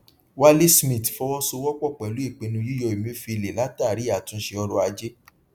wale smith fọwọsowọpọ pẹlú ìpinnu yíyọ emefiele látàrí àtúnṣe ọrọajé